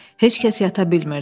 Heç kəs yata bilmirdi.